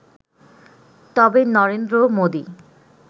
তবে নরেন্দ্র মোদি